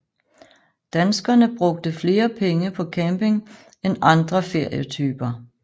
Danskerne brugte flere penge på camping end andre ferietyper